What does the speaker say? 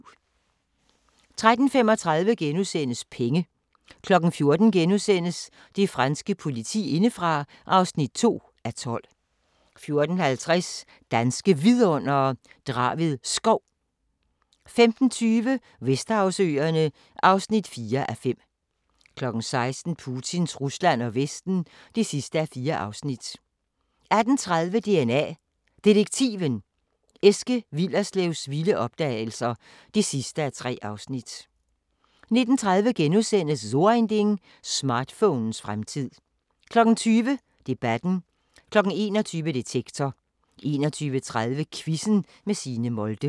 13:35: Penge * 14:00: Det franske politi indefra (2:12)* 14:50: Danske Vidundere: Draved Skov 15:20: Vesterhavsøerne (4:5) 16:00: Putins Rusland og Vesten (4:4) 18:30: DNA Detektiven – Eske Willerslevs vilde opdagelser (3:3) 19:30: So Ein Ding: Smartphonens fremtid * 20:00: Debatten 21:00: Detektor 21:30: Quizzen med Signe Molde